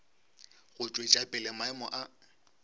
go tšwetša pele maemo a